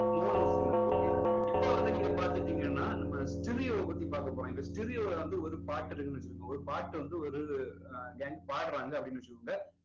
mono signal okay இப்போ வந்து நீங்க பாத்துக்கிட்டீங்கன்னா நம்ம stereo பத்தி பார்க்க போறோம் இந்த stereo ல வந்து ஒரு பாட்டு இருக்குன்னு வச்சுக்கோங்க ஒரு பாட்டு வந்து ஒரு பாடுறாங்க அப்படின்னு வச்சுக்கோங்க